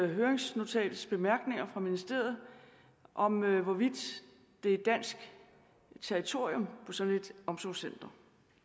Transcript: høringsnotatet fra ministeriet om hvorvidt det er dansk territorium på sådan et omsorgscenter